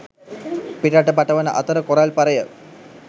පිටරට පටවන අතර කොරල් පරය